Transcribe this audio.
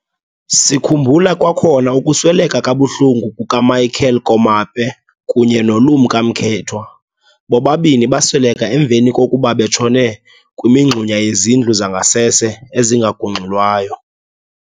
Sikhumbula kwakhona ukusweleka kabuhlungu kukaMichael Komape kunye noLumka Mkethwa, bobabini basweleka emveni kokuba betshone kwimingxuma yezindlu zangasese ezingagungxulwayo.